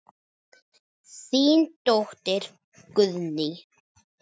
Þín dóttir Guðný.